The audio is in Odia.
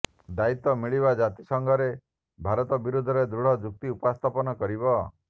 ଦାୟିତ୍ବ ମିଳିତ ଜାତିସଂଘରେ ଭାରତ ବିରୋଧରେ ଦୃଢ଼ ଯୁକ୍ତି ଉପସ୍ଥାପନ କରିବା